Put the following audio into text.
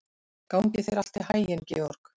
Gangi þér allt í haginn, Georg.